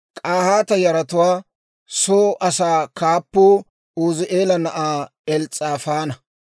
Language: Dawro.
K'ahaata yaratuwaa soo asaa kaappuu Uuzi'eela na'aa Els's'aafaana.